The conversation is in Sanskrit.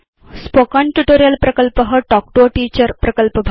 स्पोकेन ट्यूटोरियल् प्रकल्प तल्क् तो a टीचर प्रकल्पभाग